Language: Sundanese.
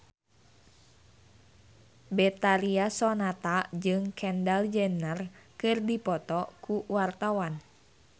Betharia Sonata jeung Kendall Jenner keur dipoto ku wartawan